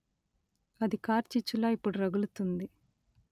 అది కార్చిచ్చులా ఇప్పుడు రగులుతుంది